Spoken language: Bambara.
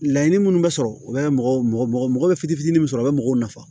Laɲini minnu bɛ sɔrɔ u bɛ mɔgɔ mɔgɔ bɛ fitinin min sɔrɔ u bɛ mɔgɔw nafa